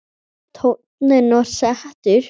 Tónninn var settur.